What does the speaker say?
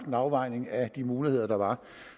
en afvejning af de muligheder der var